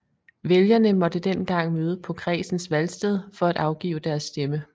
Vælgerne måtte dengang møde på kredsens valgsted for at afgive deres stemme